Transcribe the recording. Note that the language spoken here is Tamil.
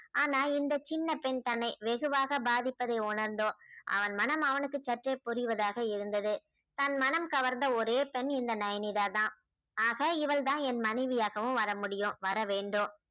ஆனா இந்த சின்ன பெண் தன்னை வெகுவாக பாதிப்பதை உணர்ந்தும். அவன் மனம் அவனுக்கு சற்றே புரிவதாக இருந்தது தன் மனம் கவர்ந்த ஒரே பெண் இந்த நயனிதா தான் ஆக இவள்தான் என் மனைவியாகவும் வர முடியும் வர வேண்டும்